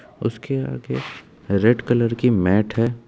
उसके आगे red colour की मैट है।